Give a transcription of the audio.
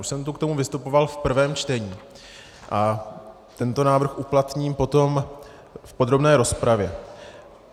Už jsem tu k tomu vystupoval v prvém čtení a tento návrh uplatním potom v podrobné rozpravě.